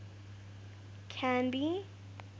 canby